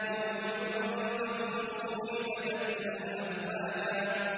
يَوْمَ يُنفَخُ فِي الصُّورِ فَتَأْتُونَ أَفْوَاجًا